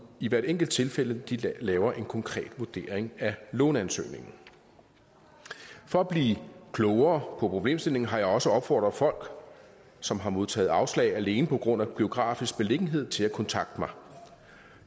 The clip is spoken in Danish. i hvert enkelt tilfælde laver en konkret vurdering af låneansøgningen for at blive klogere på problemstillingen har jeg også opfordret folk som har modtaget afslag alene på grund af geografisk beliggenhed til at kontakte mig